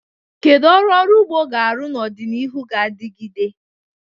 Kedu ọrụ ọrụ ugbo ga-arụ n'ọdịnihu ga-adigide?